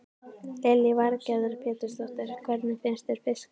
Lillý Valgerður Pétursdóttir: Hvernig finnst þér fiskurinn?